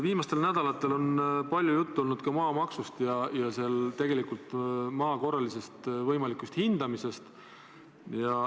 Viimastel nädalatel on palju juttu olnud maamaksust ja võimalikust maa korralisest hindamisest.